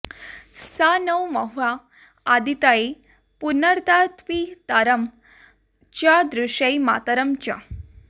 स नो॑ म॒ह्या अदि॑तये॒ पुन॑र्दात्पि॒तरं॑ च दृ॒शेयं॑ मा॒तरं॑ च